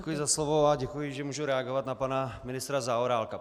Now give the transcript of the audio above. Děkuji za slovo a děkuji, že mohu reagovat na pana ministra Zaorálka.